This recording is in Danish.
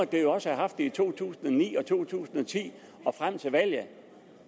det jo også have haft det i to tusind og ni og to tusind og ti og frem til valget